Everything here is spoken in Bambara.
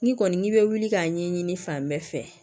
N'i kɔni n'i bɛ wuli k'a ɲɛɲini fan bɛɛ fɛ